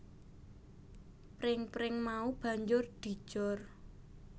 Pring pring mau banjur dijor